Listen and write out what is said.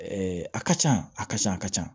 a ka ca a ka ca a ka ca